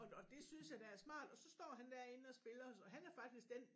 Og og det synes jeg da er smart og så står han derinde og spiller og han er faktisk den